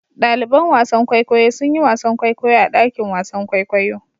Ɗaliban wasan kwaikwayo sun yi wasan kwaikwayo a dakin wasan kwaikwayo.